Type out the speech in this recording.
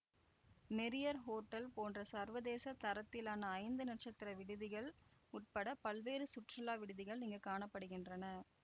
Marriott hotel போன்ற சர்வதேச தரத்திலான ஐந்து நட்சத்திர விடுதிகள் உட்பட பல்வேறு சுற்றுலா விடுதிகள் இங்கு காண படுகின்றன